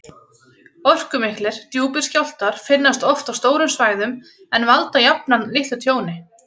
Orkumiklir, djúpir skjálftar finnast oft á stórum svæðum en valda jafnan litlu tjóni.